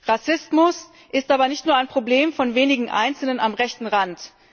Rassismus ist aber nicht nur ein Problem von wenigen Einzelnen am rechten Rand.